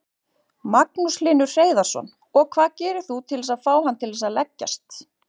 Magnús Hlynur Hreiðarsson: Og hvað gerir þú til að fá hann til að leggjast?